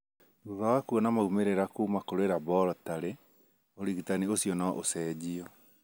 Thutha wa kuona maumĩrĩra kuuma kũrĩ laborotarĩ, ũrigitani ũcio no ũcenjio.